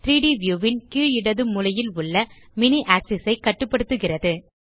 3ட் வியூ ன் கீழ் இடது மூலையில் உள்ள மினி ஆக்ஸிஸ் ஐ கட்டுப்படுத்துகிறது